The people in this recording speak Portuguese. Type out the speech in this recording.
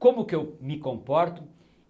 Como que eu me comporto?